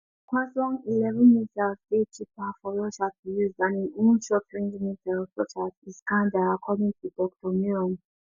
hwasong11 missiles dey cheaper for russia to use dan im own shortrange missiles such as iskander according to dr miron